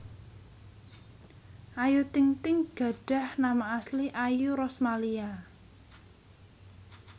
Ayu Ting Ting gadhah nama asli Ayu Rosmalia